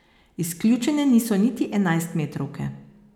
Izključene niso niti enajstmetrovke.